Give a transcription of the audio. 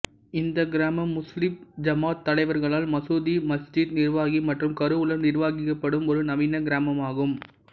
இந்த கிராமம் முஸ்லிம் ஜமாத் தலைவர்களால் மசூதி மஸ்ஜித் நிர்வாகி மற்றும் கருவூலம் நிர்வகிக்கப்படும் ஒரு நவீன கிராமமாகும்